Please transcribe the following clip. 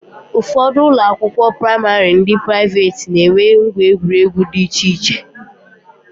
Ụfọdụ ụlọakwụkwọ praịmarị ndị praiveeti na-enwe ngwa egwuregwu di iche iche